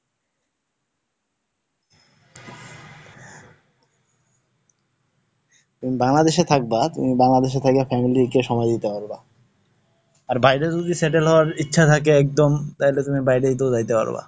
তুমি বাংলাদেশে থাকবা, তুমি বাংলাদেশে থাকো family কে সময় দিতে পারবা। আর বাইরে যদি settle হওয়ার ইচ্ছা থাকে একদম তাহলে তুমি বাইরের দিকেও যাইতে পারবা।